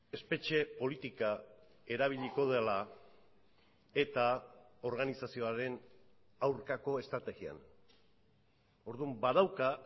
espetxe politika erabiliko dela eta organizazioaren aurkako estrategian orduan badauka